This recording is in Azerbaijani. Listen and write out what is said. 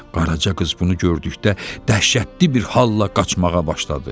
Qaraca qız bunu gördükdə dəhşətli bir halla qaçmağa başladı.